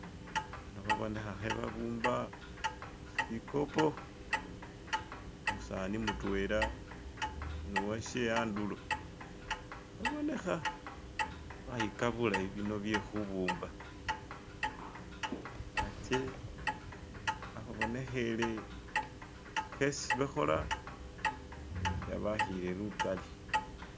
Bano khe babonekha khebabumba shikopo umusani mutwela nuwashe handulo babonekha bayikha bulayi bino byekhubumba hatye hakhubonekhele khesi bakhola habakhile lukali